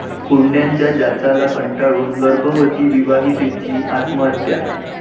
हुंड्याच्या जाचाला कंटाळून गर्भवती विवाहितेची आत्महत्या